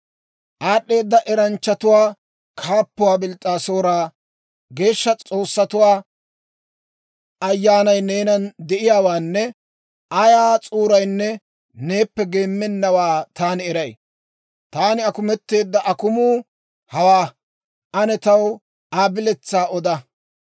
«Aad'd'eeda eranchchatuwaa kaappuwaa Bils's'aasoora, geeshsha s'oossatuwaa ayyaanay neenan de'iyaawaanne ayaa s'uurinne neeppe geemmennawaa taani eray. Taani akumetteedda akumuu hawaa; ane taw Aa biletsaa oda.